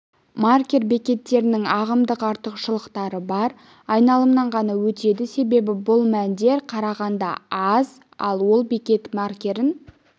маркер бекеттерінің ағымдық артықшылықтары бар айналымнан ғана өтеді себебі бұл мәндер қарағанда аз ал ол бекет маркерін